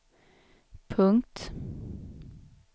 punkt